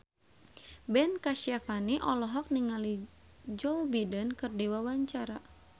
Ben Kasyafani olohok ningali Joe Biden keur diwawancara